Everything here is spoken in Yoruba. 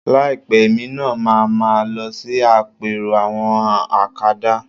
Láìpẹ́ èmi náà ma máa lọ sí àpérò àwọn akadá